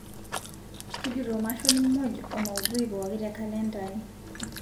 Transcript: tujuto mashon muj o maudhui pooki te kalenda aai